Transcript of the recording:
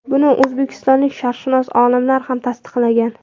Buni o‘zbekistonlik sharqshunos olimlar ham tasdiqlagan.